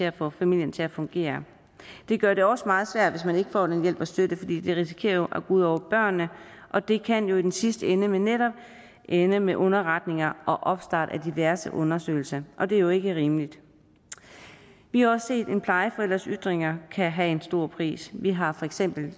at få familien til at fungere det gør det også meget svært hvis man ikke får den hjælp og støtte fordi det jo risikerer at gå ud over børnene og det kan jo i den sidste ende netop ende med underretninger og opstart af diverse undersøgelser og det er jo ikke rimeligt vi har også set at en plejeforælders ytringer kan have en stor pris vi har for eksempel